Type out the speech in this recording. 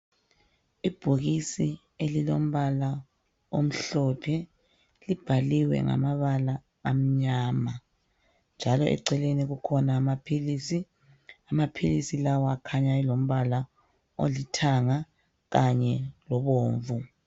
ibhokisi elilombala omhlophe libhaliwe ngamabala amnyama njalo eceleni kukhona amaphilisi amaphilisi lawa akhanya elombala olithanga kanye lobomvu